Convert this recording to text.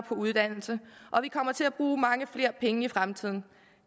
på uddannelse og vi kommer til at bruge mange flere penge i fremtiden